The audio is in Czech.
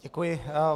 Děkuji.